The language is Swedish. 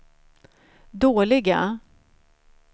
dåliga